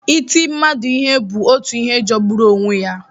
Iti mmadụ ihe bụ otu ihe jọgburu onwe ya.